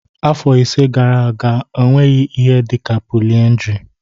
Afọ ise gara aga ọ nweghị ihe dị ka polyndry